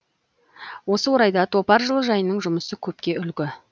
осы орайда топар жылыжайының жұмысы көпке үлгі